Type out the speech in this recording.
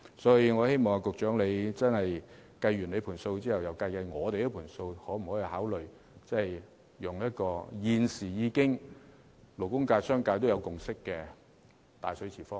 因此，我希望局長在作出所有估算後，再計算我們在方案中提出的數字，考慮可否採用現時勞工界和商界均已達成共識的"大水池方案"。